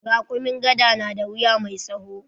Raƙumin gyada ya na da wuya mai tsawo.